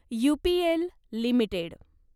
UPL limited